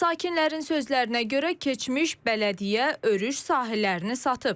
Sakinlərin sözlərinə görə keçmiş bələdiyyə örüş sahələrini satıb.